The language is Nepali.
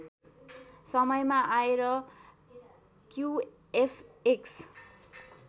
समयमा आएर क्युएफएक्स